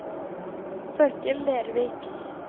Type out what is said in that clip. Torkel Lervik